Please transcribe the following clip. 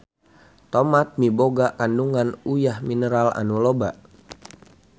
Tomat miboga kandungan uyah mineral anu loba.